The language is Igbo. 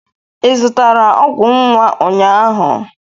Ị zụtara ọgwụ nwa ụnyahụ?